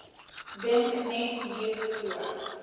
dink net hierso